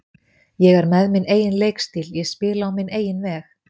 Ég er með minn eigin leikstíl, ég spila á minn eigin veg.